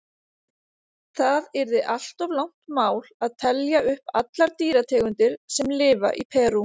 Það yrði allt of langt mál að telja upp allar dýrategundir sem lifa í Perú.